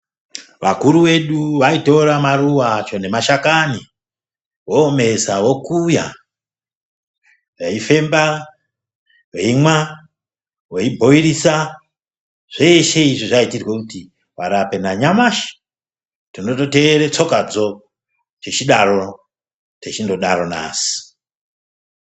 Vakuru vedu vaitora maruva acho ngemashakani vomesa vokuya veifemba veimwa veibhoirisa zveshe izvi zvaitirwa kuti varape nanyamashi tinototeera took tsokadzo tichidaro tichindodaro nhasi .